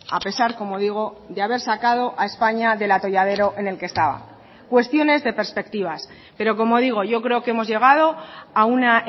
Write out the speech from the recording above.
a pesar como digo de haber sacado a españa del atolladero en el que estaba cuestiones de perspectivas pero como digo yo creo que hemos llegado a una